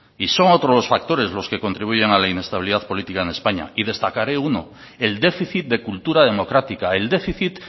y son otros los factores los que contribuyen a la inestabilidad política en españa y destacaré uno el déficit de cultura democrática el déficit